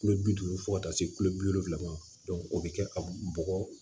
Kulo bi duuru fɔ ka taa se kulo bi wolonwula ma o bɛ kɛ ka bɔgɔ